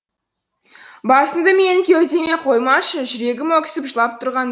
басыңды менің кеудеме қоймашы жүрегім өксіп жылап тұрған